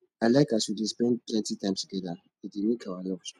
i like as we dey spend plenty time together e dey make our love strong